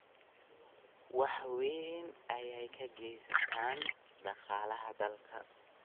Wax weyn ayey ka geystaan ??dhaqaalaha dalka.